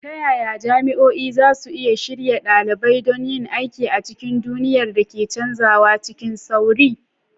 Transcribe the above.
Ta yaya jami'o'i za su iya shirya ɗalibai don yin aiki a cikin duniyar da ke canzawa cikin sauri?